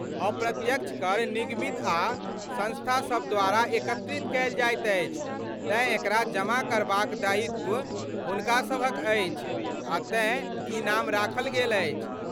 अप्रत्यक्ष कर निगमित आ संस्थासभ द्वारा एकत्रित कयल जाइत अछि तेँ एकरा जमा करबाक दायित्व हुनका सभक अछि आ तेँ ई नाम राखल गेल अछि।